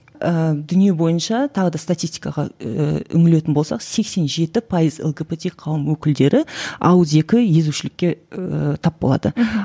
ыыы дүние бойынша тағы да статистикаға ііі үңілетін болсақ сексен жеті пайызы лгбт қауым өкілдері ауызекі езушілікке ііі тап болады мхм